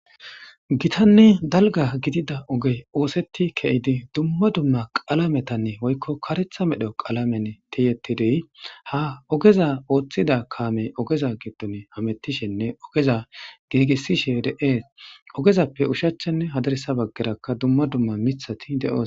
Gitanne dalga gidida ogey othet kezid dumma dumma qalametan woyko karetha medho qalamen tiyetid ogeza oothida kamey oge gidon hametishenne ogeza giigisishe de'es. Ogezappe oshichanne hadirsa bagaraka dumma dumma mithat de'osona.